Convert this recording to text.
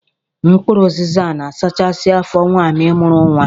Mkpụrụ ụzịza na-asachasị afọ nwaanyi mụrụ nwa.